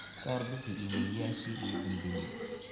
ka warbixi iimaylyashii ugu dambeeyay